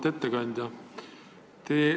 Auväärt ettekandja!